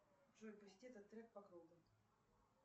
джой пусти этот трек по кругу